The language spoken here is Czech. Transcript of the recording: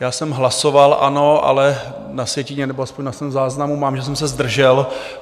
Já jsem hlasoval ano, ale na sjetině, nebo aspoň na svém záznamu mám, že jsem se zdržel.